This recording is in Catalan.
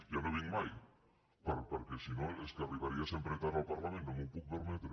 ja no hi vinc mai perquè si no és que arribaria sempre tard al parlament no m’ho puc permetre